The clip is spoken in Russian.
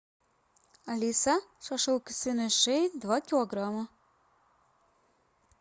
алиса шашлык из свиной шеи два килограмма